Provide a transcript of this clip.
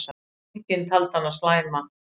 Enginn taldi hana slæma.